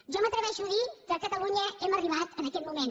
jo m’atreveixo a dir que a catalunya hem arribat a aquest moment